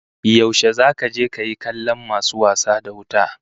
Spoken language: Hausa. Yaushe zaka je kayi kallon masu wasa da wuta?